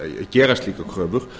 gera slíkar kröfur